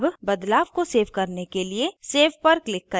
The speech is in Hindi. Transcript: अब बदलाव को सेव करने के लिए save पर click करें